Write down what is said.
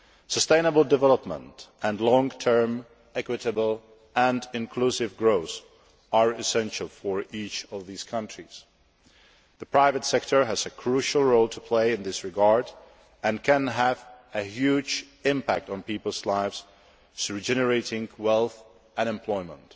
Sustainable development and long term equitable and inclusive growth are essential for each of these countries. The private sector has a crucial role to play in this regard and can have a huge impact on people's lives through generating wealth and employment.